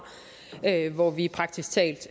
hvor vi praktisk talt